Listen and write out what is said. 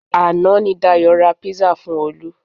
Àná ni Dayọ̀ ra pizza fun olu